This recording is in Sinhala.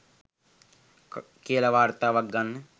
කියලා වාර්තාවක් ගන්න